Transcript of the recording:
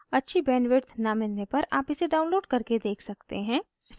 अच्छी bandwidth न मिलने पर आप इसे download करके देख सकते हैं